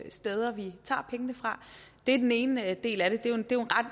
steder vi tager pengene fra det er den ene del af det